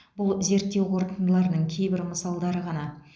бұл зерттеу қорытындыларының кейбір мысалдары ғана